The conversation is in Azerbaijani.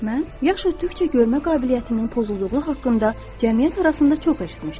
Mən yaş ötdükcə görmə qabiliyyətinin pozulduğu haqqında cəmiyyət arasında çox eşitmişdim.